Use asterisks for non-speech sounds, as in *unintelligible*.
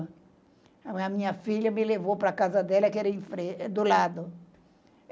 A minha filha me levou para casa dela, que era *unintelligible* do lado.